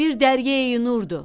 Bir Dəryəyi Nurdu.